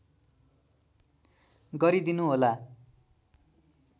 गरिदिनु होला